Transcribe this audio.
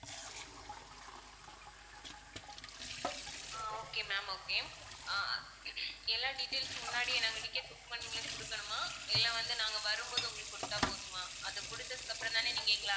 அஹ் okay ma'am okay ah எல்லா details உம் முன்னாடியே நாங்க இன்னைக்கே book பண்ணும்போது கொடுக்கணுமா இல்ல வந்து நாங்க வரும்போது உங்களுக்கு கொடுத்தாப் போதுமா அதை கொடுத்ததுக்கு அப்பறம் தான நீங்க எங்களை